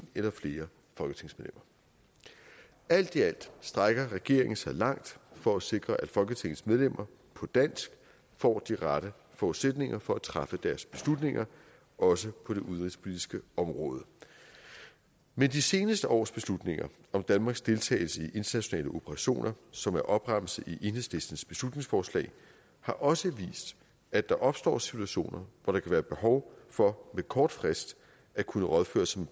eller flere folketingsmedlemmer alt i alt strækker regeringen sig langt for at sikre at folketingets medlemmer på dansk får de rette forudsætninger for at træffe deres beslutninger også på det udenrigspolitiske område men de seneste års beslutninger om danmarks deltagelse i internationale operationer som er opremset i enhedslistens beslutningsforslag har også vist at der opstår situationer hvor der kan være behov for med kort frist at kunne rådføre sig